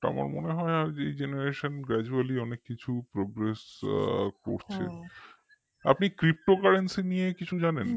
তো আমার মনে হয় এই generationgradually অনেক বেশি progress করছে আপনি ptocurrency নিয়ে কিছু জানেন